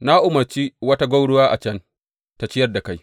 Na umarci wata gwauruwa a can tă ciyar da kai.